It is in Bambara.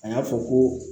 A y'a fɔ ko